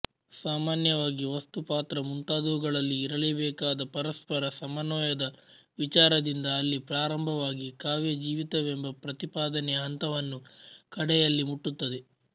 ಸಾಮಾನ್ಯವಾಗಿ ವಸ್ತು ಪಾತ್ರ ಮುಂತಾದುವುಗಳಲ್ಲಿ ಇರಲೇಬೇಕಾದ ಪರಸ್ಪರ ಸಮನ್ವಯದ ವಿಚಾರದಿಂದ ಅಲ್ಲಿ ಪ್ರಾರಂಭವಾಗಿ ಕಾವ್ಯಜೀವಿತವೆಂಬ ಪ್ರತಿಪಾದನೆಯ ಹಂತವನ್ನು ಕಡೆಯಲ್ಲಿ ಮುಟ್ಟುತ್ತದೆ